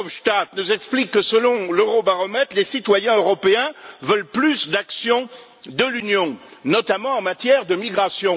Verhofstadt nous explique que, selon l'Eurobaromètre, les citoyens européens veulent plus d'action de l'Union, notamment en matière de migration.